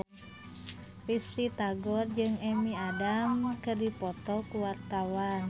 Risty Tagor jeung Amy Adams keur dipoto ku wartawan